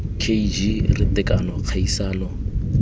k g r tekano kgaisano